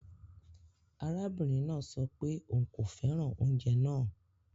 Arabinrin naa sọ pe oun ko fẹran ounjẹ naa